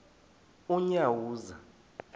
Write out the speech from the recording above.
unyawuza